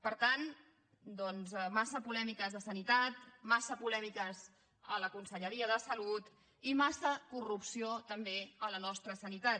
per tant doncs massa polèmiques de sanitat massa polèmiques a la conselleria de salut i massa corrupció també a la nostra sanitat